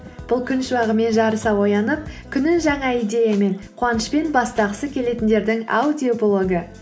бұл күн шуағымен жарыса оянып күнін жаңа идеямен қуанышпен бастағысы келетіндердің аудиоблогы